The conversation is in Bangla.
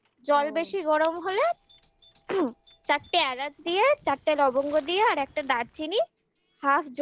জল বেশি গরম হলে চারটে এলাচ দিয়ে চারটে লবঙ্গ দিয়ে আর একটা দারচিনি